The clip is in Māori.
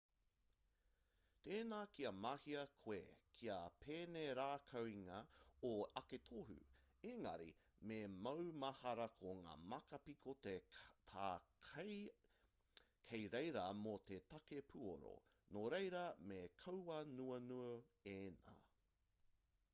tēnā kia mahea koe kia penerākaungia ō ake tohu ēngari me maumahara ko ngā māka piko tā kei reira mō te take puoro nōreira me kauanuanu ēnā